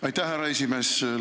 Aitäh, härra esimees!